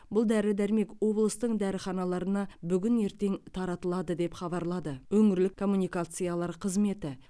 бұл дәрі дәрмек облыстың дәріханаларына бүгін ертең таратылады деп хабарлады өңірлік коммуникациялар қызметі